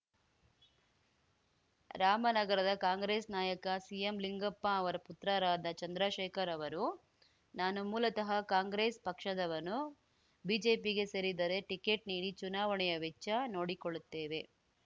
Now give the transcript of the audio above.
ರಾಮನಗರದ ಕಾಂಗ್ರೆಸ್‌ ನಾಯಕ ಸಿಎಂಲಿಂಗಪ್ಪ ಅವರ ಪುತ್ರರಾದ ಚಂದ್ರಶೇಖರ್ ಅವರು ನಾನು ಮೂಲತಃ ಕಾಂಗ್ರೆಸ್‌ ಪಕ್ಷದವನು ಬಿಜೆಪಿಗೆ ಸೇರಿದರೆ ಟಿಕೆಟ್‌ ನೀಡಿ ಚುನಾವಣೆಯ ವೆಚ್ಚ ನೋಡಿಕೊಳ್ಳುತ್ತೇವೆ